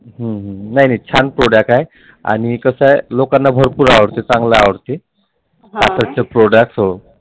हम्म नाही नाही छान Product आहे आणि कसं आहे लोकांना भरपूर आवडते छान आवडते. Product